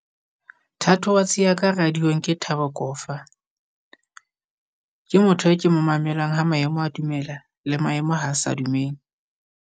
Thatohatsi ya ka radiong ke Thabo Kofa, ke motho e ke mo mamelang ha maemo a dumela le maemo ha sa dumele.